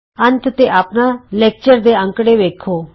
ਅੰਤ ਤੇ ਆਪਣਾ ਲੈਕਚਰ ਦੇ ਅੰਕੜੇ ਵੇਖੋ